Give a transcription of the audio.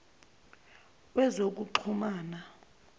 wezokuxhumana